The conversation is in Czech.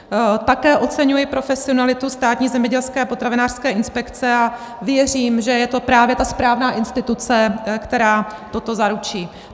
Také oceňuji profesionalitu Státní zemědělské a potravinářské inspekce a věřím, že je to právě ta správná instituce, která toto zaručí.